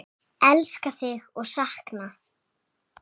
Elska þig og sakna!